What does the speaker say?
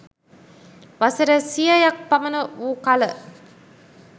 වසර සියයක් පමණ වූ කළ